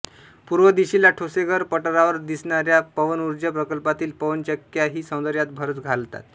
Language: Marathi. पूर्व दिशेला ठोसेघर पठारावर दिसणार्या पवनुर्जा प्रकल्पातील पवन्चक्क्याही सौंदर्यात भरच घालतात